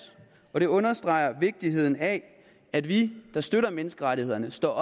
og det understreger vigtigheden af at vi der støtter menneskerettighederne står